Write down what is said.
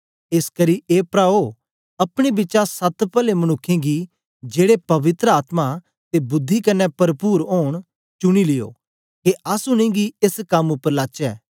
एसकरी ए प्राओ अपने बिचा सत पले मनुक्खें गी जेड़े पवित्र आत्मा ते बुद्धि कन्ने परपुर ओंन चुनी लियो के अस उनेंगी एस कम उपर लाचै